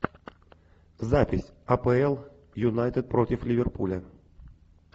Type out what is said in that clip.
запись апл юнайтед против ливерпуля